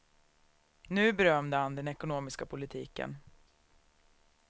Nu berömde han den ekonomiska politiken.